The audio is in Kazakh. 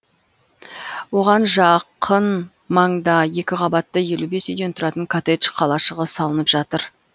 оған жақын маңда екі қабатты елу бес үйден тұратын коттедж қалашығы салынып жатыр